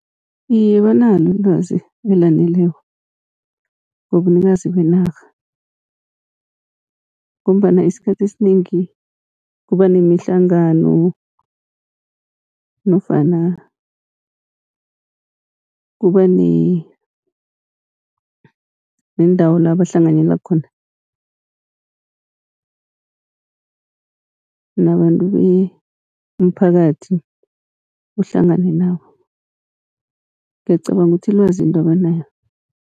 Iye, banalo ilwazi elaneleko ngobunikazi benarha, ngombana isikhathi esinengi kuba nemihlangano nofana kuba nendawo la bahlanganyela khona nabantu, umphakathi uhlangane nabo ngiyacabanga ukuthi ilwazi lingaba nayo.